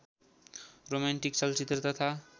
romantic चलचित्र तथा